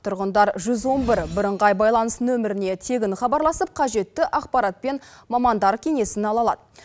тұрғындар жүз он бір бірыңғай байланыс нөміріне тегін хабарласып қажетті ақпарат пен мамандар кеңесін ала алады